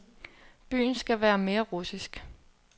Byen skal være mere russisk.